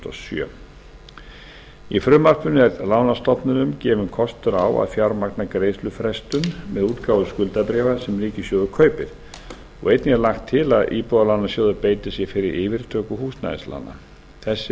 sjö í frumvarpinu er lánastofnunum gefinn kostur á að fjármagna greiðslufrestun með útgáfu skuldabréfs sem ríkissjóður kaupir og einnig er lagt til að íbúðalánasjóður beiti sér fyrir yfirtöku húsnæðislána þessi